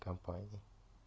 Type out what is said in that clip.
компания